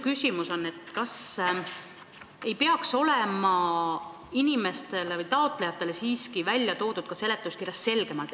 Kas uuendus ei peaks seletuskirjas siiski olema taotlejatele arusaadavamalt esitatud?